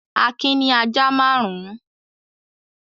Akin ní ajá márùn-ún.